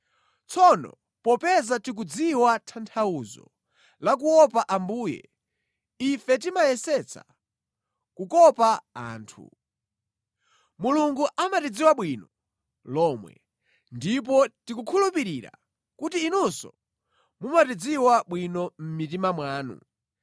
Tsono popeza tikudziwa tanthauzo la kuopa Ambuye, ife timayesetsa kukopa anthu. Mulungu amatidziwa bwino lomwe, ndipo tikukhulupirira kuti inunso mumatidziwa bwino mʼmitima mwanu.